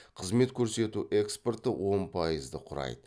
қызмет көрсету экспортты он пайызды құрайды